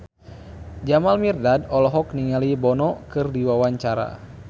Jamal Mirdad olohok ningali Bono keur diwawancara